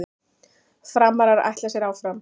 Framarar ætla sér áfram